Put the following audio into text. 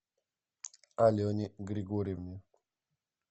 алене григорьевне